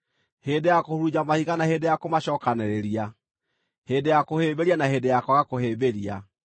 hĩndĩ ya kũhurunja mahiga na hĩndĩ ya kũmacookanĩrĩria, hĩndĩ ya kũhĩmbĩria na hĩndĩ ya kwaga kũhĩmbĩria,